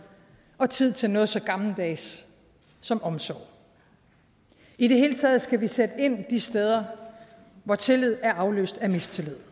og tid til noget så gammeldags som omsorg i det hele taget skal vi sætte ind de steder hvor tillid er afløst af mistillid